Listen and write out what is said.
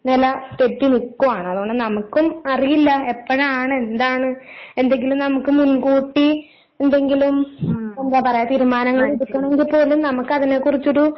നില തെറ്റി നിക്കുവാണ് അതുകൊണ്ട് നമുക്കും അറിയില്ല എപ്പഴാണ് എന്താണ് എന്തെങ്കിലും നമുക്ക് മുൻകൂട്ടി എന്തെങ്കിലും എന്താ പറയാ തീരുമാനങ്ങൾ എടുക്കണെങ്കിൽ പോലും നമുക്ക് അതിനെക്കുറിച്ചൊരു